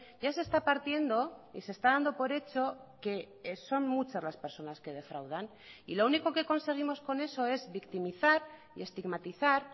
ya se está partiendo y se está dando por hecho que son muchas las personas que defraudan y lo único que conseguimos con eso es victimizar y estigmatizar